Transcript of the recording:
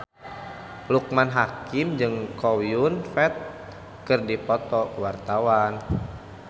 Loekman Hakim jeung Chow Yun Fat keur dipoto ku wartawan